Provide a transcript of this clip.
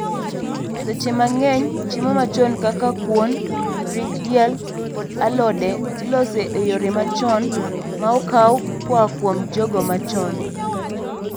seche mang'eny chiemo machon kaka kuon, ring' diel kod alode iloso e yore machon maokaw koa kuom jogo machon